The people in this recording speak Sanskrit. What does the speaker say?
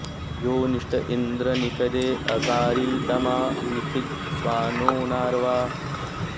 योनि॑ष्ट इन्द्र नि॒षदे॑ अकारि॒ तमा नि षी॑द स्वा॒नो नार्वा॑